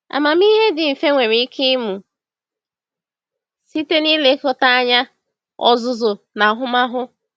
Amamihe dị mfe nwere ike ịmụ site n’ilekọta anya, ọzụzụ, na ahụmahụ.